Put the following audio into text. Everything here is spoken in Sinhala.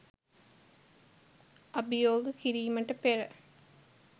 අභියෝග කිරීමට පෙර